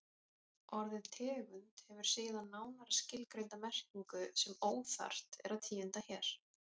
Orðið tegund hefur síðan nánar skilgreinda merkingu sem óþarft er að tíunda hér.